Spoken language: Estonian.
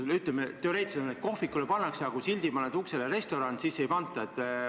Teoreetiliselt on nii, et, ütleme, kohvikule kehtestatakse piirang, aga kui paned uksele sildi "Restoran", siis ei kehtestata.